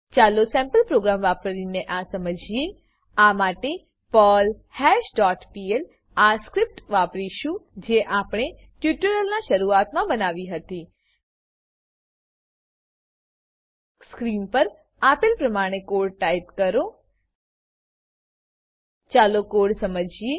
ચાલો sample program વાપરીને આ સમજીએ આ માટે પર્લ્હાશ ડોટ પીએલ આ સ્ક્રીપ્ટ વાપરીશું જે આપણે ટ્યુટોરીયલના શરૂઆતમા બનાવી હતી સ્ક્રીન પર આપેલ પ્રમાણે કોડ ટાઈપ કરો ચાલો કોડ સમજીએ